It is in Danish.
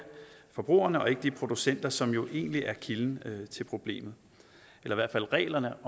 forbrugerne og ikke de producenter som jo egentlig er kilden til problemet eller i hvert fald reglerne